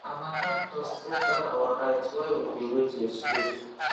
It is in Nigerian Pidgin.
harmattan dust enter our eyes while we dey wet vegetable